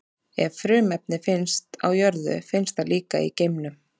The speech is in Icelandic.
Ef frumefni finnst á jörðu, finnst það líka í geimnum.